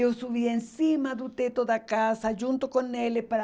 Eu subia em cima do teto da casa, junto com ele, para...